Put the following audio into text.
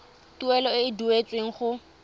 tuelo e e duetsweng go